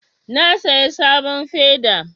Na saya sabon feda